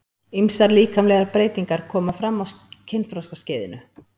Ýmsar líkamlegar breytingar koma fram á kynþroskaskeiðinu.